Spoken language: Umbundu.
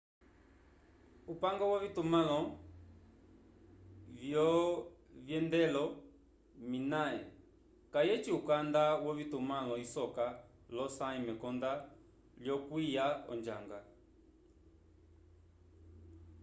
upange wovitumãlo vyovyendelo minae kayeci ukanda wovitumãlo isoka l’osãyi mekonda lyokwiya onjanga